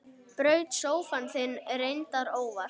Braut sófann þinn, reyndar óvart.